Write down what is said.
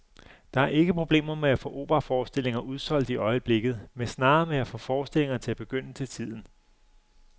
Der er ikke problemer med at få operaforestillinger udsolgt i øjeblikket, men snarere med at få forestillingerne til at begynde til tiden.